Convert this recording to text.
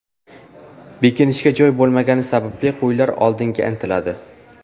Bekinishga joy bo‘lmagani sababli qo‘ylar oldinga intiladi.